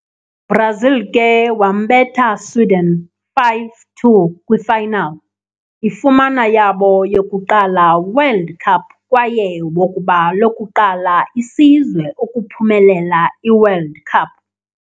Brazil ke wambetha Sweden 5-2 kwi final, ifumana yabo yokuqala World Cup kwaye wokuba lokuqala isizwe ukuphumelela i-World Cup